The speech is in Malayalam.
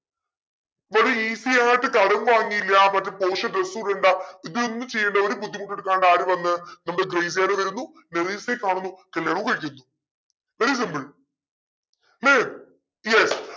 ഇവര് easy ആയിട്ട് കടം വാങ്ങിയില്ല പക്ഷെ porsche dress ഉ ഇടേണ്ട ഇത് ഒന്നും ചെയ്യണ്ട ഒരു ബുദ്ധിമുട്ടു എടുക്കാണ്ട് ആര് വന്നു നമ്മുടെ ഗ്രേസിയാനോ വരുന്നു മെറീസയെ കാണുന്നു കല്യാണം കഴിക്കുന്നു very simple ല്ലേ yes